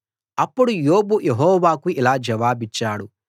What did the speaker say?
అప్పుడు యోబు యెహోవాకు ఇలా జవాబిచ్చాడు